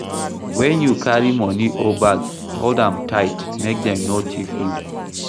When you carry money or bag, hold am tight make dem no thief you